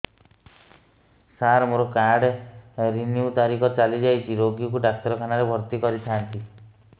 ସାର ମୋର card renew ତାରିଖ ଚାଲି ଯାଇଛି ରୋଗୀକୁ ଡାକ୍ତରଖାନା ରେ ଭର୍ତି କରିଥାନ୍ତି